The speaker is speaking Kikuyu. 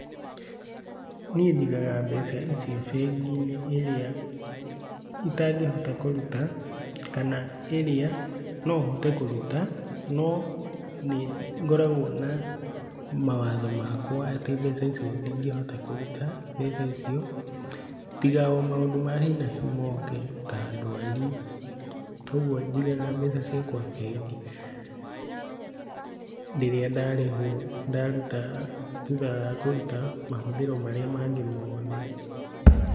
Niĩ njigaga mbeca icio bengi-inĩ ĩrĩa itangĩhota kũruta, kana ĩrĩa no hote kũruta, no nĩ ngoragwo na mawatho makwa atĩ mbeca icio ndingĩhota kũruta mbeca icio, tiga o maũndũ ma hi na hi moke ta ndwari. Toguo njigaga mbeca ciakwa bengi rĩrĩa ndarĩhwo ndaruta, thutha wa kũruta mahũthĩro marĩa mangĩ mothe.